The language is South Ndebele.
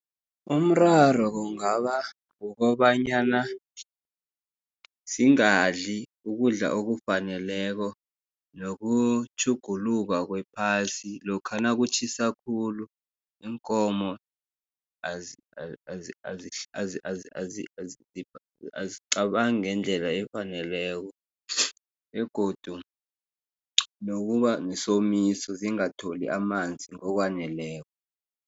Umraro kungaba kukobanyana zingadli ukudla okufaneleko, nokutjhuguluka kwephasi. Lokha nakutjhisa khulu, iinkomo azicabangi ngendlela efaneleko, begodu nokubanesomiso zingatholi amanzi ngokwaneleko.